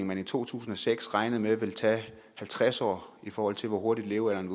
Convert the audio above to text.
man i to tusind og seks regnede med ville tage halvtreds år i forhold til hvor hurtigt levealderen